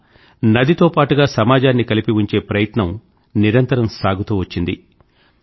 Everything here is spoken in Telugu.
అలా నదితో పాటుగా సమాజాన్ని కలిపి ఉంచే ప్రయత్నం నిరంతరం సాగుతూ వచ్చింది